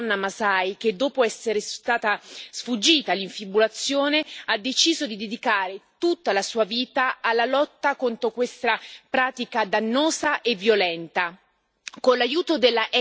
Nice è una giovane donna masai che, dopo essere sfuggita all'infibulazione, ha deciso di dedicare tutta la sua vita alla lotta contro questa pratica dannosa e violenta.